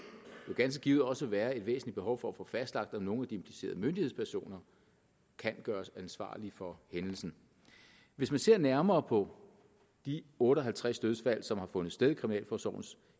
ganske givet også være et væsentligt behov for at få fastlagt om nogle af de implicerede myndighedspersoner kan gøres ansvarlige for hændelsen hvis man ser nærmere på de otte og halvtreds dødsfald som har fundet sted i kriminalforsorgens